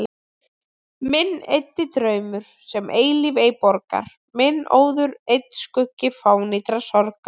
Minn eyddi draumur, sem eilífð ei borgar, minn óður einn skuggi fánýtrar sorgar.